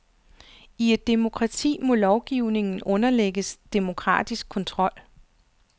I et demokrati må lovgivningen underlægges demokratisk kontrol.